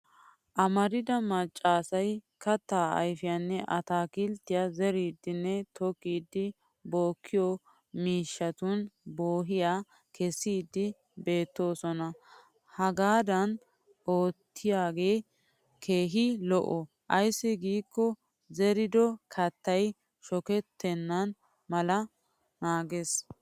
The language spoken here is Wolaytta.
Amarida macca asay kattaa ayfiyanne ataakilttiya zeridinne tookkidi bookiyo miishshatun boo'iyaa kessiiddi beettoosona. Hagaadan oottiyoogee keehin lo'o ayssi giikko zerido kattay shokettenna mala naages.